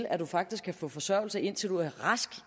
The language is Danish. at man faktisk kan få forsørgelse indtil man er rask